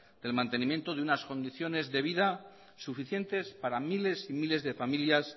el mantenimiento de unas condiciones de vida suficientes para miles y miles de familias